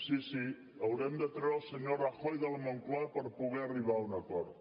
sí sí haurem de treure el senyor rajoy de la moncloa per poder arribar a un acord